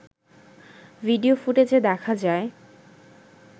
video ফুটেজে দেখা যায়